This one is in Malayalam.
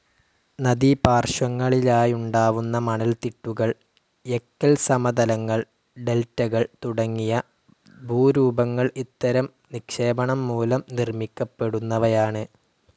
നദീപാർശ്വങ്ങളിലായുണ്ടാവുന്ന മണൽത്തിട്ടുകൾ, എക്കൽസമതലങ്ങൾ, ഡെൽറ്റകൾ തുടങ്ങിയ ഭൂരൂപങ്ങൾ ഇത്തരം നിക്ഷേപണം മൂലം നിർമ്മിക്കപ്പെടുന്നവയാണ്.